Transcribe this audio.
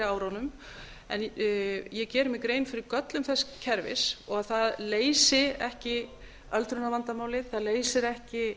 árunum en ég geri mér grein fyrir göllum þess kerfis og að það leysi ekki öldrunarvandamálið það leysir ekki